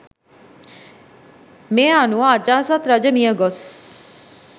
මේ අනුව අජාසත් රජ මියගොස්